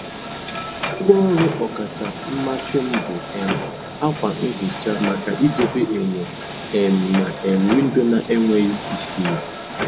Ngwá ọrụ ọkacha mmasị m bụ um ákwà nhicha maka idobe enyo um na um windo na-enweghị isiri.